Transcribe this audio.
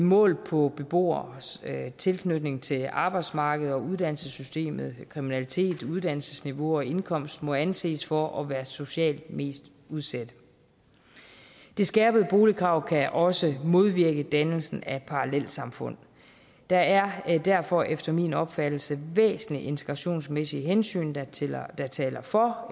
målt på beboeres tilknytning til arbejdsmarkedet og uddannelsessystemet kriminalitet uddannelsesniveau og indkomst må anses for at være socialt mest udsatte det skærpede boligkrav kan også modvirke dannelse af parallelsamfund der er derfor efter min opfattelse væsentlige integrationsmæssige hensyn der taler der taler for